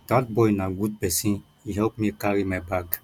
dat boy na good person he help me carry my bag